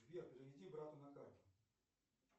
сбер переведи брату на карту